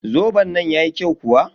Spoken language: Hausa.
Zoben nan yayi kyau kuwa?